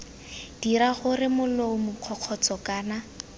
dira gore molomo kgokgotsho kana